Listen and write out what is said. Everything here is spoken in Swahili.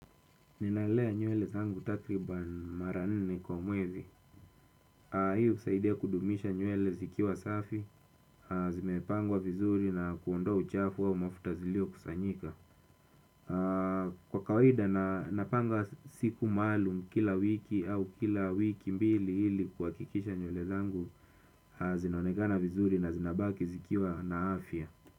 Ninalea nywele zangu takriban mara nne kwa mwezi. Hii husaidia kudumisha nywele zikiwa safi, zimepangwa vizuri na kuondoa uchafu wa mafuta ziliyokusanyika. Kwa kawaida, napanga siku maalum kila wiki au kila wiki mbili ili kuhakikisha nywele zangu zinonekana vizuri na zinabaki zikiwa na afya.